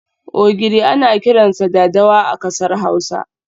Ogiri ana kiransa 'dadawa' a kasar Hausa.